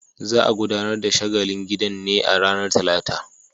Za a gudanar da shagalin gidan ne a ranar Talata.